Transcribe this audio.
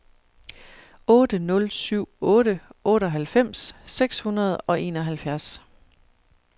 otte nul syv otte otteoghalvfems seks hundrede og enoghalvfjerds